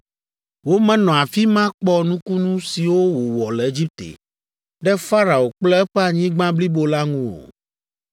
Womenɔ afi ma kpɔ nukunu siwo wòwɔ le Egipte ɖe Farao kple eƒe anyigba blibo la ŋu o.